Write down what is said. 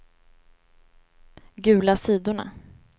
gula sidorna